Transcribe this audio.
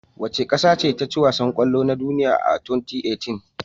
Wace ƙasace taci wasan kwallo na duniya a 2018?